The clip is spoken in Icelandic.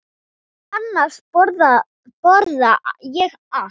Annars borða ég allt.